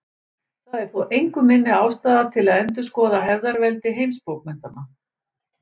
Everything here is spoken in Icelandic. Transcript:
Það er þó engu minni ástæða til að endurskoða hefðarveldi heimsbókmenntanna.